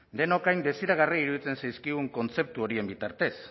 denoi hain desiragarri iruditzen zaizkigun kontzeptu horien bitartez